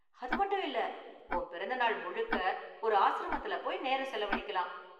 அது மட்டும் இல்ல, உன் பிறந்த நாள் முழுக்க ஒரு ஆஸ்ரமத்துல போய் நேரம் செலவழிக்கலாம்.